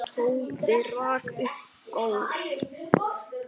Tóti rak upp gól.